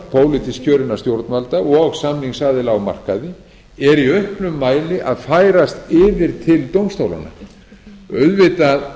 pólitískt kjörinna stjórnvalda og samningsaðila á markaði er í auknum mæli að færast yfir til dómstólanna auðvitað eigum við að